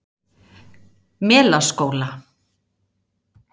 Melaskóla